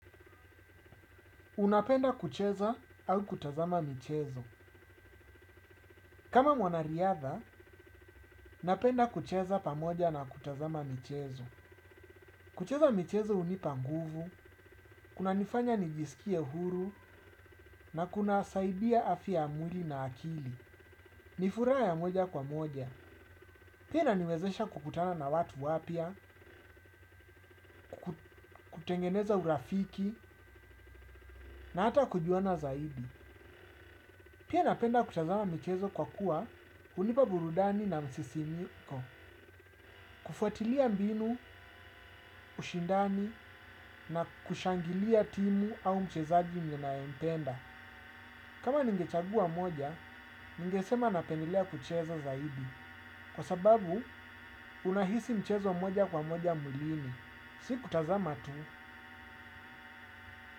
Unapenda kucheza au kutazama michezo. Kama mwanariadha, napenda kucheza pamoja na kutazama michezo. Kucheza michezo hunipa nguvu, kunanifanya nijisikie huru, na kunasaidia afya ya mwili na akili. Ni furaha ya moja kwa moja. Pia inaniwezesha kukutana na watu wapya, kutengeneza urafiki, na hata kujuana zaidi. Pia napenda kutazama michezo kwa kuwa hunipa burudani na msisimko. Kufuatilia mbinu, ushindani na kushangilia timu au mchezaji ninayempenda. Kama ningechagua moja, ningesema napendelea kucheza zaidi. Kwa sababu unahisi mchezo moja kwa moja mwilini. Si kutazama tu.